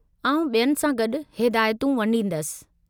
आउं ॿियनि सां गॾु हिदायतूं वंडींदसि।